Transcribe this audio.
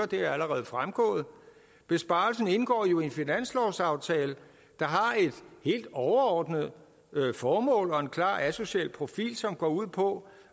det er allerede fremgået besparelsen indgår jo i en finanslovsaftale der har et helt overordnet formål og en klar asocial profil som går ud på